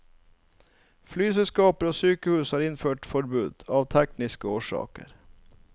Flyselskaper og sykehus har innført forbud, av tekniske årsaker.